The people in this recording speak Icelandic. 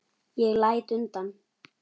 Ég læt undan.